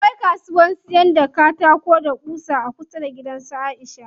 Akwai kasuwan siyan katako da ƙusa a kusa da gidan su Aisha.